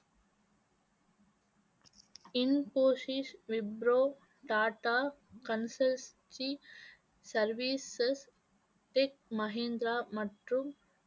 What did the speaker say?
Infosys, Wipro, Tata consultancy services, tech Mahindra மற்றும்